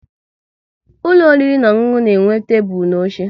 Ụlọ oriri na ọṅụṅụ na-enwe tebụl na oche